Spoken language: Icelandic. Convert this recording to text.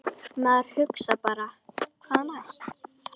Maður hugsar bara hvað næst?